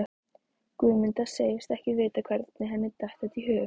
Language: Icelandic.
Guðmunda segist ekki vita hvernig henni datt þetta í hug.